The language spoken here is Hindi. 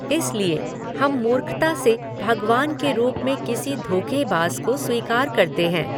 इसलिए हम मूर्खता से भगवान के रूप में किसी धोख़ेबाज़ को स्वीकार करते हैं।